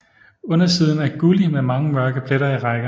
Undersiden er gullig med mange mørke pletter i rækker